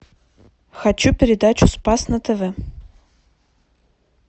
хочу передачу спас на тв